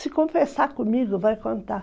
Se confessar comigo, vai contar.